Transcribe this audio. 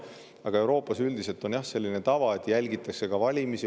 Aga Euroopas on üldiselt selline tava, et jälgitakse valimisi.